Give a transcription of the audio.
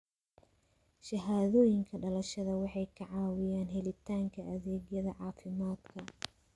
Shahaadooyinka dhalashada waxay ka caawiyaan helitaanka adeegyada caafimaadka.